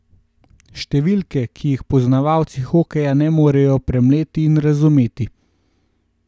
Številke, ki jih poznavalci hokeja ne morejo premleti in razumeti.